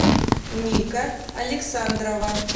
ника александрова